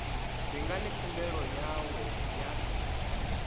ndi ngani khumbelo yawe ya